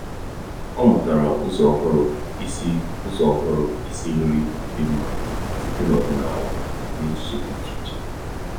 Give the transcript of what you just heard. ọ́ mụ́tàrà ụ́zọ́ ọ́hụ́rụ́ ísí ụ́zọ́ ọ́hụ́rụ́ ísí nrí dị́ mma site n’ọ́dị́nála na echiche dị́ iche iche.